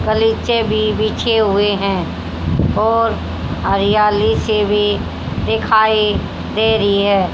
गलीचे भी बिछे हुए हैं और हरियाली सी भी दिखाई दे रही है।